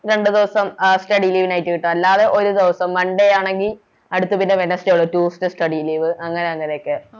രണ്ട് ദിവസം Study leave നായിട്ട് കിട്ടും അല്ലാതെ ഒരു ദിവസം Monday ആണെങ്കി അടുത്ത പിന്നെ Wedneday tuesday study leave അങ്ങനെ അങ്ങനെയൊക്കെ